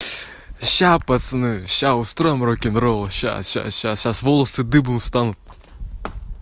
сейчас пацаны сейчас устроим рокенрол сейчас сейчас сейчас сейчас волосы дыбом встанут